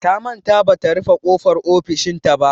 Ta manta bata rufe ƙofar ofishinta ba.